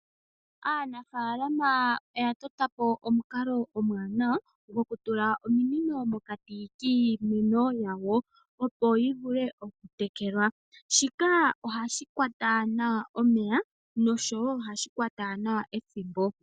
Aanafalama oya tota po omukalo omwaanawa gokutula omunino pokati kiimeno yawo opo yi vule okutekelwa shika ohashi kwata nawa omeya noshowo ohashi kwata nawa ethimbo.